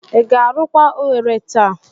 Ị ga-arụkwa oghere taa?